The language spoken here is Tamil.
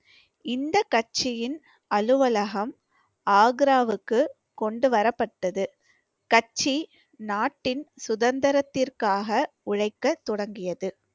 இந்த கட்சியின் அலுவலகம் ஆக்ராவுக்கு கொண்டுவரப்பட்டது. கட்சி நாட்டின் சுதந்திரத்திற்காக உழைக்க தொடங்கியது